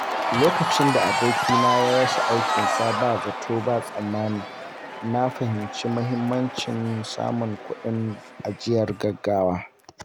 Lokacin da abokina ya rasa aikinsa ba zato ba tsammani, na fahimci muhimmancin samun kuɗin ajiyar gaugawa.